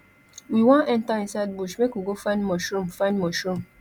we wan enter inside bush make we go find mushroom find mushroom